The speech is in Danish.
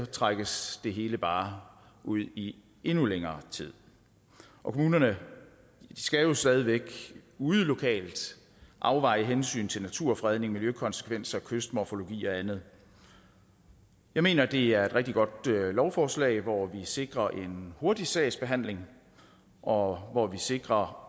trækkes det hele bare ud i endnu længere tid kommunerne skal jo stadig væk ude lokalt afveje hensynet til naturfredning miljøkonsekvenser kystmorfologi og andet jeg mener det er et rigtig godt lovforslag hvor vi sikrer en hurtig sagsbehandling og hvor vi sikrer